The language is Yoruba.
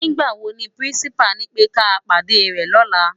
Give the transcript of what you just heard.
Nigbá wó ni pirinsipá nipè ká pádé rè lòlá?